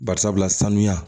Bari sabula sanuya